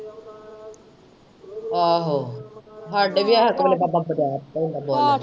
ਆਹੋ ਹਾਡੇ ਵੀ ਇਸ ਵੇਲੇ ਬਾਬਾ। .